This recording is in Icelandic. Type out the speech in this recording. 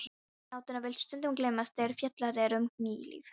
Vináttan vill stundum gleymast þegar fjallað er um kynlíf.